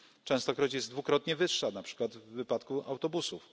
Częstokroć jest dwukrotnie wyższa, na przykład w wypadku autobusów.